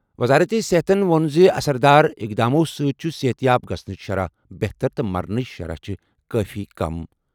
وزارت صحتَن ووٚن زِ اثر دار اقداماتو سۭتۍ چھِ صحت یاب گژھنٕچ شرح بہتر تہٕ مرنٕچ شرح چھِ کٲفی کم۔